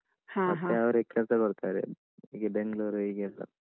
ಹ ಹ ಮತ್ತೆ ಅವ್ರೇ ಕೆಲ್ಸ ಕೊಡ್ತಾರೆ ಹೀಗೆ ಬೆಂಗ್ಲೂರು ಹೀಗೆಯೆಲ್ಲಾ.